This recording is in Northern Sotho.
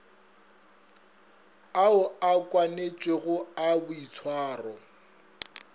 ao a kwanetšwego a boitshwaro